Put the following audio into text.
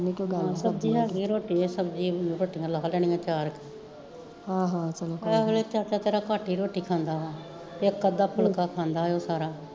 ਹਾਂ ਸਬਜ਼ੀ ਹੈਗੀ ਐ ਰੋਟੀਆ ਲਾ ਲੈਣੀਆ ਚਾਰ ਏਸ ਵੇਲੇ ਚਾਚਾ ਤੇਰਾ ਘੱਟ ਈ ਰੋਟੀ ਖਾਂਦਾ ਵਾ ਇੱਕ ਅੱਧਾ ਫੁਲਕਾ ਖਾਂਦਾ ਐ ਉਹ ਸਾਰਾ